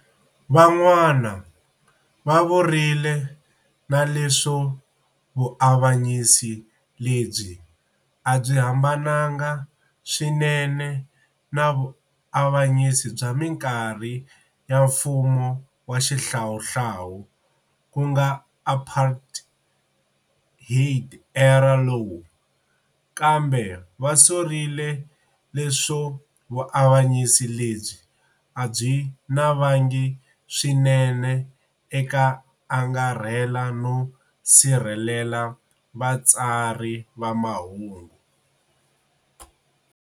Van'wana va vurile na leswo vuavanyisi lebyi a byi hambanile swinene na vuavanyisi bya minkarhi ya mfumo wa xihlawuhlawu ku nga apartheid-era law, kambe va sorile leswo vuavanyisi lebyi a byi navangi swinene eka angarhela no si rhelela vatsari va mahungu.